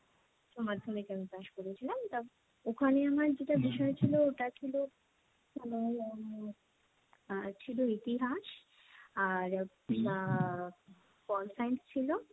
উচ্চমাধ্যমিকে আমি পাশ করেছিলাম, ওখানে আমার যেটা বিষয় ছিল ওটা ছিল আহ, আর ছিল ইতিহাস, আর আহ pol science ছিল।